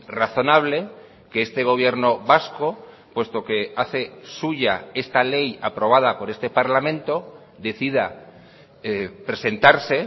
razonable que este gobierno vasco puesto que hace suya esta ley aprobada por este parlamento decida presentarse